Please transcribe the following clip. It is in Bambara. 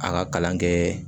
A ka kalan kɛ